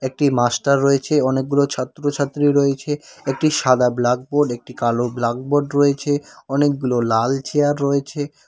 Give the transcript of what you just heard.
একটি মাস্টার রয়েছে অনেকগুলো ছাত্রছাত্রী রয়েছে একটি সাদা ব্লাকবোর্ড একটি কালো ব্লাকবোর্ড রয়েছে অনেকগুলো লাল চেয়ার রয়েছে।